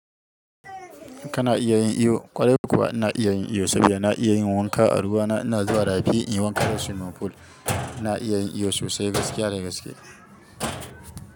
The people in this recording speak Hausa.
Kana iya yin iyo, ƙwarai kuwa na iya yin iyo, saboda na iya yin wanka a ruwa. Na ina zuwa rafi in yi wanka da swimming pool. Na iya yin iyo sosai, gaskiya da gaskiya.